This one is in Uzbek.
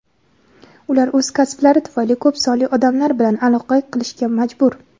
ular o‘z kasblari tufayli ko‘p sonli odamlar bilan aloqa qilishga majbur.